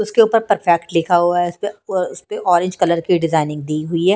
उसके ऊपर परफेक्ट लिखा हुआ है उसपे ऑरेंज कलर की डिजाइनिंग दी हुई है।